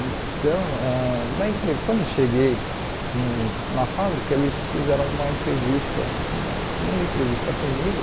Então, ãh na entre quando eu cheguei no na fábrica, eles fizeram uma entrevista, uma segunda entrevista comigo,